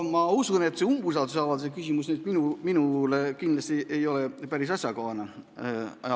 No ma usun, et seda umbusaldusavalduse küsimust nüüd minule esitada ei ole kindlasti päris asjakohane.